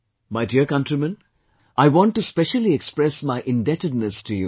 My dear countrymen, I want to specially express my indebtedness to you